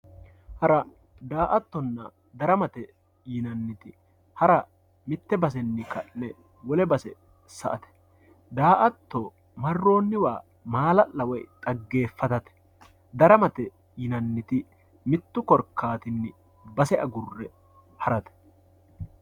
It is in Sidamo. hara daa"attonna daramate yinanniti hara mitte basenni ka'ne wole base sa"ate daa"atto marroonniwa maala'la woy xaggeeffatate daramate yinanniti mittu korkaattinni base agurre harate.